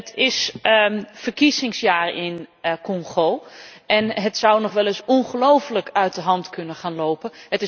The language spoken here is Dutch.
Het is een verkiezingsjaar in Congo en het zou nog wel eens ongelooflijk uit de hand kunnen gaan lopen.